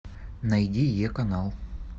найди е канал